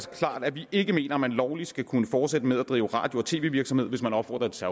klart at vi ikke mener at man lovligt skal kunne fortsætte med at drive radio og tv virksomhed hvis man opfordrer til